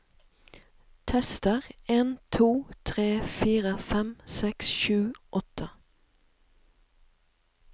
Tester en to tre fire fem seks sju åtte